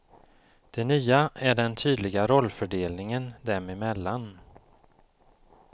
Det nya är den tydliga rollfördelningen dem emellan.